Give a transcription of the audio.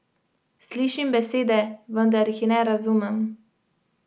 Slišim besede, vendar jih ne razumem.